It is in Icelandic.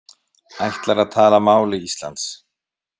Ætlar að tala máli Íslands